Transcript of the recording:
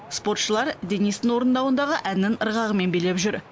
спортшылар денистің орындауындағы әннің ырғағымен билеп жүр